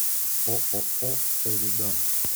ооо эридан